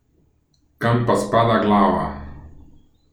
Kam pa spada glava?